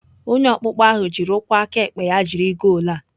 Onye ọkpụkpọ ahụ jiri ụkwụ aka ekpe ya jiri goolu a.